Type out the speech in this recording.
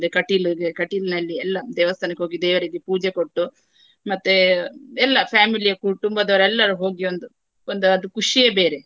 ಒಂದು ಕಟೀಲ್ಗೆ ಕಟೀಲಿನಲ್ಲಿ ಎಲ್ಲಾ ದೇವಸ್ಥಾನಕ್ಕೆ ಹೋಗಿ ದೇವರಿಗೆ ಪೂಜೆ ಕೊಟ್ಟು ಮತ್ತೆ ಎಲ್ಲಾ family ಯ ಕುಟುಂಬದವರು ಎಲ್ಲರೂ ಹೋಗಿ ಒಂದು ಒಂದು ಅದು ಖುಷಿಯೇ ಬೇರೆ.